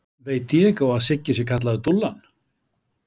Veit Diego að Siggi sé kallaður Dúllan?